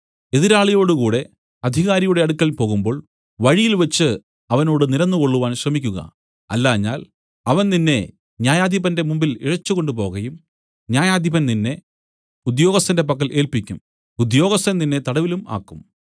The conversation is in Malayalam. എതിരാളിയോടുകൂടെ അധികാരിയുടെ അടുക്കൽ പോകുമ്പോൾ വഴിയിൽവെച്ചു അവനോട് നിരന്നുകൊള്ളുവാൻ ശ്രമിക്കുക അല്ലാഞ്ഞാൽ അവൻ നിന്നെ ന്യായാധിപന്റെ മുമ്പിൽ ഇഴച്ചുകൊണ്ട് പോകയും ന്യായാധിപൻ നിന്നെ ഉദ്യോഗസ്ഥന്റെ പക്കൽ ഏല്പിക്കും ഉദ്യോഗസ്ഥൻ നിന്നെ തടവിലും ആക്കും